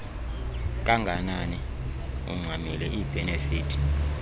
kanganani ungxamile iibhenefithi